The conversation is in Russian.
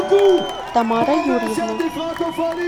тамара юрьевна